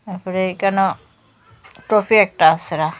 তারপরে এইখানো ট্রফি একটা আসে রাখা।